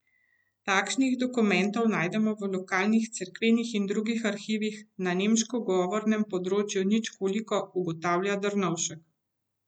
Takšnih dokumentov najdemo v lokalnih cerkvenih in drugih arhivih na nemškem govornem področju nič koliko, ugotavlja Drnovšek.